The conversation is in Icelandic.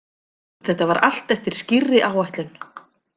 Þetta var allt eftir skýrri áætlun.